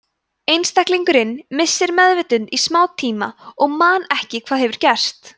einstaklingurinn missir meðvitund í stuttan tíma og man ekki hvað hefur gerst